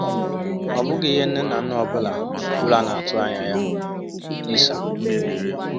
Ọ bụghị ihe nne na nna ọ bụla bụla na-atụ anya ya?” – Lisa.